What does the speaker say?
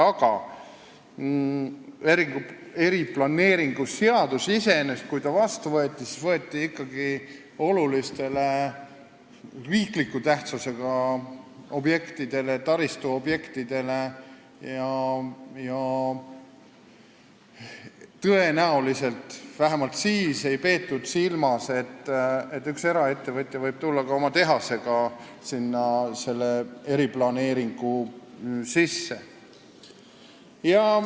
Aga eriplaneeringut seaduses sätestades mõeldi ikkagi olulistele riikliku tähtsusega taristuobjektidele ja tõenäoliselt vähemalt siis ei peetud silmas, et üks eraettevõtja võib ka oma tehase selle eriplaneeringu alla viia.